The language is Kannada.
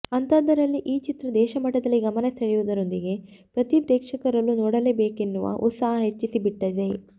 ಅಂಥಾದ್ದರಲ್ಲಿ ಈ ಚಿತ್ರ ದೇಶಮಟ್ಟದಲ್ಲಿ ಗಮನ ಸೆಳೆಯೋದರೊಂದಿಗೆ ಪ್ರತೀ ಪ್ರೇಕ್ಷಕರಲ್ಲೂ ನೋಡಲೇಬೇಕೆನ್ನುವ ಉತ್ಸಾಹ ಹೆಚ್ಚಿಸಿಬಿಟ್ಟಿದೆ